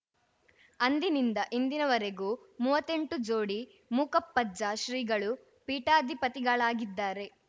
ಅಂದಿನಿಂದ ಇಂದಿನವರೆಗೂ ಮೂವತ್ತೆಂಟು ಜೋಡಿ ಮೂಕಪ್ಪಜ್ಜ ಶ್ರೀಗಳು ಪೀಠಾಧಿಪತಿಗಳಾಗಿದ್ದಾರೆ